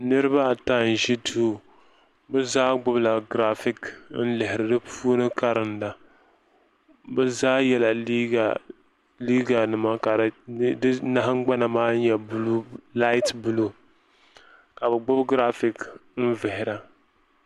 Niriba ata n ʒi duu bɛ zaa gbibila girafiki n lihiri di puuni n karinda bɛ zaa yɛla liiga nima ka di nahingbana maa nyɛla laati buluu ka bɛ gbibi girafiki n vihira.